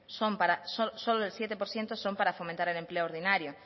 son para fomentar el empleo ordinario